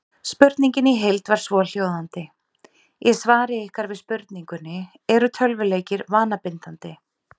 Spurningin í heild var svohljóðandi: Í svari ykkar við spurningunni Eru tölvuleikir vanabindandi?